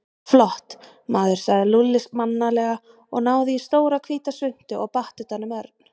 Flott, maður sagði Lúlli mannalega, náði í stóra, hvíta svuntu og batt utan um Örn.